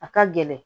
A ka gɛlɛn